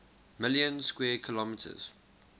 million square kilometers